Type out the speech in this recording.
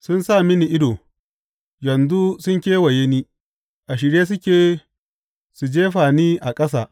Sun sa mini ido, yanzu sun kewaye ni, a shirye suke, su jefa ni a ƙasa.